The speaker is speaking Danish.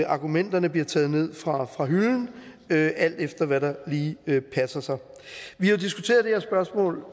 argumenterne bliver taget ned fra fra hylden alt efter hvad der lige passer vi har diskuteret